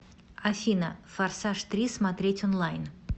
афина форсаж три смотреть онлайн